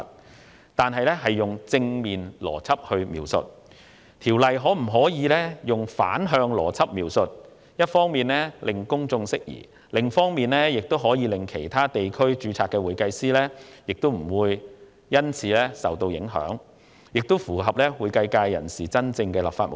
現時《條例草案》採用了正面邏輯描述，我建議改用反向邏輯描述，一方面可令公眾釋疑，另一方面亦可令其他地區註冊的會計師免受影響，此舉亦符合會計界人士真正的立法目的。